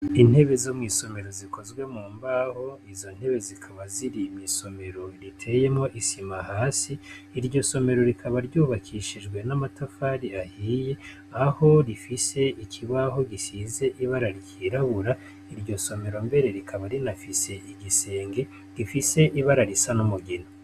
Intebe zo mw'isomero zikozwe mu mbaho, izo ntebe zikaba ziri mw'isomero riteyemwo isima hasi, iryo somero rikaba ryubakishijwe n'amatafari ahiye, aho rifise ikibaho gisize ibara ryirabura, iryo somero mbere rikaba rinafise igisenge gifise ibara risa n'umugina.